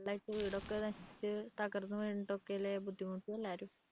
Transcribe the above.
വീട് ഒക്കെ നശിച്ചു തകർന്നു വീണട്ടല്ലേ ബുദ്ധിമുട്ടി എല്ലാവരും